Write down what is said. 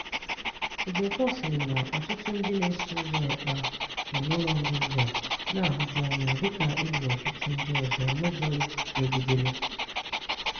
Ejiofor sịrị na ọtụtụ ndị na-eso ụzọ Ekpa nọ n'ụlọnga ugbua na-ahuju anya, dịka e gburu ọtụtụ ndị ọzọ n'ụzọ iwu megidere.